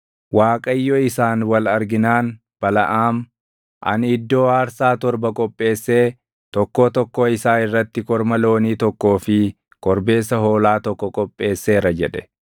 Waaqayyo isaan wal arginaan Balaʼaam, “Ani iddoo aarsaa torba qopheessee tokkoo tokkoo isaa irratti korma loonii tokkoo fi korbeessa hoolaa tokko qopheesseera” jedhe.